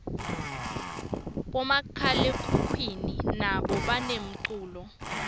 bomakhalekhukhwini nabo banemculo